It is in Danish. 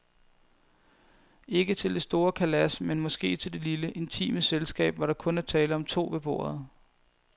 Ikke til det store kalas, men måske til det lille, intime selskab, hvor der kun er tale om to ved bordet.